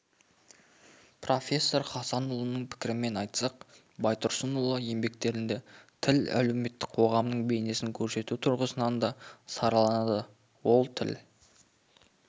профессор хасанұлының пікірімен айтсақ байтұрсынұлы еңбектерінде тіл әлеуметтің қоғамның бейнесін көрсету тұрғысынан да сараланады ол тіл